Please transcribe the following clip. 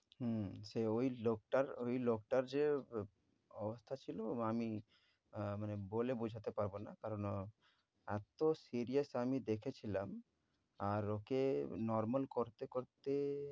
হম সে ঐ লোকটার ওই লোকটার যে আ~ অবস্থা ছিল আ~ আমি আহ মানে বলে বোঝাতে পারব না। কারণ এত serious আমি দেখেছিলাম, আর ওকে normal করতে করতে